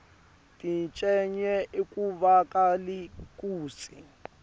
tincenye akuvakali kutsi